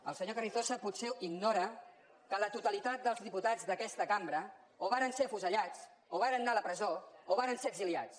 el senyor carrizosa potser ignora que la totalitat dels diputats d’aquesta cambra o varen ser afusellats o varen anar a la presó o varen ser exiliats